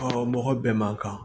mɔgɔ bɛɛ man kan